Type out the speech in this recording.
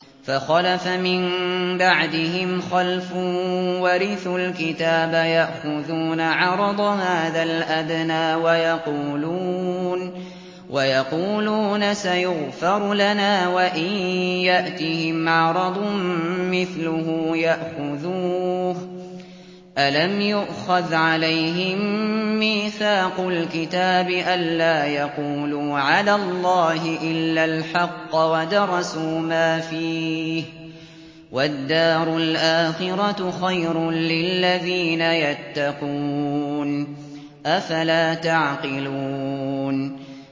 فَخَلَفَ مِن بَعْدِهِمْ خَلْفٌ وَرِثُوا الْكِتَابَ يَأْخُذُونَ عَرَضَ هَٰذَا الْأَدْنَىٰ وَيَقُولُونَ سَيُغْفَرُ لَنَا وَإِن يَأْتِهِمْ عَرَضٌ مِّثْلُهُ يَأْخُذُوهُ ۚ أَلَمْ يُؤْخَذْ عَلَيْهِم مِّيثَاقُ الْكِتَابِ أَن لَّا يَقُولُوا عَلَى اللَّهِ إِلَّا الْحَقَّ وَدَرَسُوا مَا فِيهِ ۗ وَالدَّارُ الْآخِرَةُ خَيْرٌ لِّلَّذِينَ يَتَّقُونَ ۗ أَفَلَا تَعْقِلُونَ